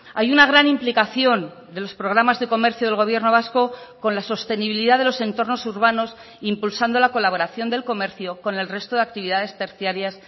hay una gran implicación de los programas de comercio del gobierno vasco con la sostenibilidad de los entornos urbanos impulsando la colaboración del comercio con el resto de actividades terciarias